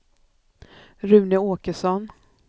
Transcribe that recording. Rune Åkesson